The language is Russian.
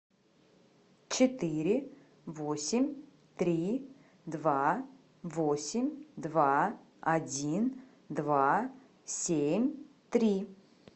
четыре восемь три два восемь два один два семь три